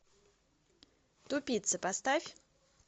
тупицы поставь